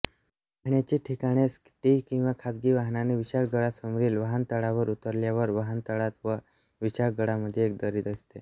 पहाण्याची ठिकाणेएस टी किंवा खाजगी वहानाने विशाळगडासमोरील वहानतळावर उतरल्यावर वहानतळात व विशाळगडामध्ये एक दरी दिसते